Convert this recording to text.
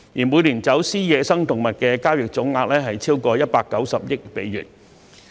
每年走私野生動物的交易總額超過190億美元。